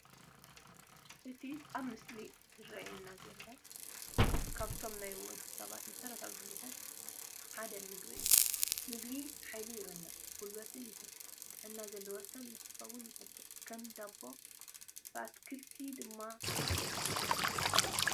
እቲ ኣብቲ ምስሊ ዝራኣየና ዘሎ ካብቶም ናይ ወዲ ሰብ መሰረታዊ ድልየታት ሓደ ምግቢ እዩ፡፡ ምግቢ ሓይሊ ይህብ፣ ጉልበት ይህብን ጥዕና ዘለዎ ሰብ ንኽኾን ይገብርን፡፡ ከም ዳቦ ብኣትክልቲ ድማ ይጥቀሱ፡፡